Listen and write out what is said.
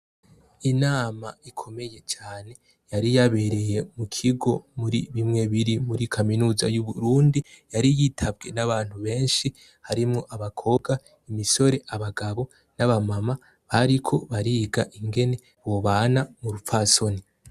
Inama ikomeye cane yari yabereye mu kigo muri bimwe biri muri kaminuza y'Uburundi, yari yitabwe n'abantu benshi harimwo abakobwa, imisore, abagabo n'abamama bariko bariga ingene bobana mu rupfasoni.